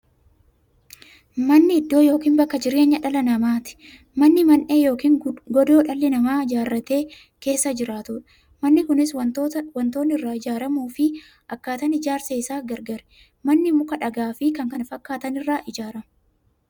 Manni iddoo yookiin bakka jireenya dhala namaati. Manni Mandhee yookiin godoo dhalli namaa ijaaratee keessa jiraatudha. Manni Kunis waantootni irraa ijaaramuufi akkaataan ijaarsa isaa gargar. Manni muka, dhagaafi kan kana fakkaatan irraa ijaarama.